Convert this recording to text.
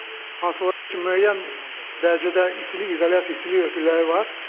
Hansılar ki müəyyən dərəcədə istilik izolyasiya, istilik örtükləri var.